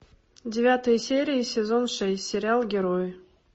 девятая серия сезон шесть сериал герои